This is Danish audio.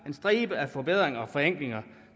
en stribe forbedringer og forenklinger